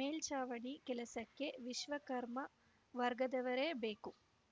ಮೇಲ್ಚಾವಣಿ ಕೆಲಸಕ್ಕೆ ವಿಶ್ವಕರ್ಮ ವರ್ಗದವರೇ ಬೇಕು